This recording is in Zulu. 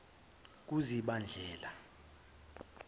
kuzibandlela